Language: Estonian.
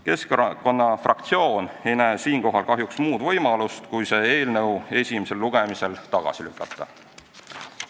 Keskerakonna fraktsioon ei näe siinkohal kahjuks muud võimalust kui see eelnõu esimesel lugemisel tagasi lükata.